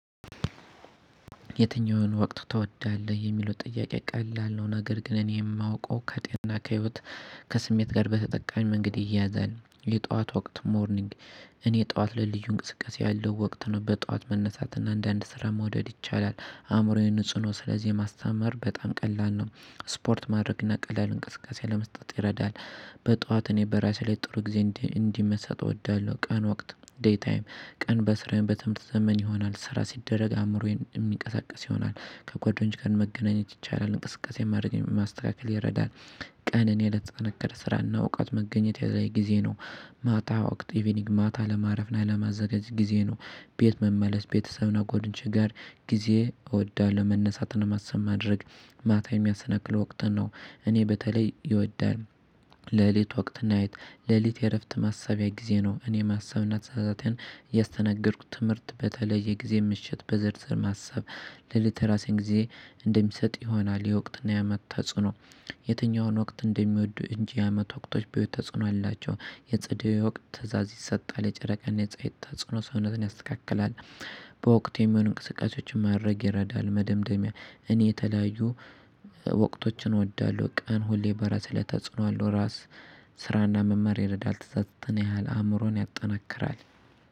የትኛውን ወቅት ትወዳለህ? የሚለው ጥያቄ ቀላል ነው ነገር ግን እኔ የማውቀው ከጤና፣ ከህይወት፣ ከስሜት ጋር በተጠቃሚ መንገድ ይያያዛል የጧት ወቅት ሞርኒንግ እኔ ጠዋት ላይ ልዩ እንቅስቃሴ ያለው ወቅት ነው በጠዋት መነሳት እና አንዳንድ ስራ መውደድ ይቻላል አእምሮዬን ንጹ ነው ስለዚህ ማስተማር በጣም ቀላል ነው ስፖርት ማድረግ እና ቀላል እንቅስቃሴ ለመስጠት ይረዳል በጠዋት እኔ በራሴ ላይ ጥሩ ጊዜ እንዲ መስራት እወዳለሁ ቀን ወቅት ዴይ ታይም ቀን በስራዬ በትምህርት ዘመን ይሆናል ስራ ሲደረግ አእምሮዬ የሚንቀሳቀስ ይሆናል ከጓደኞች ጋር መገናኘት ይቻላል እንቅስቃሴ ማድረግ ማስተካከል ይረዳል ቀንን ያለምንም ስራና እውቀት መገኘት ያለም ጊዜ ነው። ማታ ወቅት ኢቭኒንግ ማታ ለማረፍ እና ለማዘጋጅ ጊዜ ነው። ቤት መመለስ ቤተሰብ እና ጎደኞቼ ጋር ጊዜ እወዳለሁ። መነሳትን ለማሰብ ማድረግ ማታ የሚያስነክል ወቅት ነው እኔ በተለይ ይወዳል። ሌሊት ወቅት ናይት ሌሊት የእረፍት ማሰቢያ ጊዜ ነው። እኔ ማሰብና ተሳስተን ያስተናገድኩት ትምህርት በተለየ ጊዜ ምሽት በዝርዝር ማሰብ ለሌተራሲያን ጊዜ እንደሚሰጥ ይሆናል። የወቅትና የአመት ተጽዕኖ የትኛውን ወቅት እንደሚወዱ እንጂ አመት ወቅቶች በውጭ ተጽዕኖ አላቸው። የጸደይ ወቅት ትእዛዝ ይሰጣል። የጨረቃ እና የፀሀይ ተጽዕኖ ሰውነትን ያስተካክላል። በወቅት የሚሆን እንቅስቃሴዎችን ማድረግ ይረዳል። መደምደሚያ እኔ የተለያዩ ወቅቶችን እወዳለሁ። ቀን ሁሌ በራስ ላይ ተጽዕኖ አለው። ራስ ስራና መማር ይረዳል ተጽዕኖ ያህል አእምሮን ያጠናክራል።